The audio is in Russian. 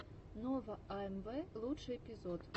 нова амв лучший эпизод